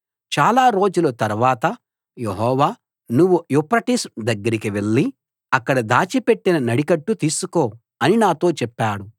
చాలా రోజుల తరవాత యెహోవా నువ్వు యూఫ్రటీసు దగ్గరికి వెళ్ళి అక్కడ దాచిపెట్టిన నడికట్టు తీసుకో అని నాతో చెప్పాడు